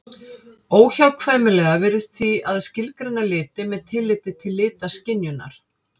Óhjákvæmilegt virðist því að skilgreina liti með tilliti til litaskynjunar.